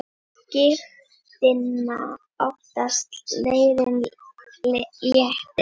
Gigtina oftast leirinn léttir.